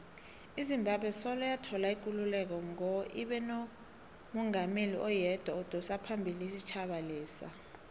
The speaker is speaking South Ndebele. izimbabwe soloyathola ikululeko ngo ibenomungameli oyedwa odosaphambili isitjhaba lesa